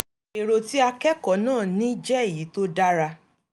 èrò tí akẹ́kọ̀ọ́ náà ní jẹ́ èyí tó dára